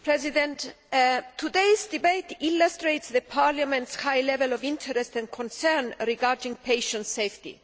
Mr President, today's debate illustrates Parliament's high level of interest and concern regarding patient safety.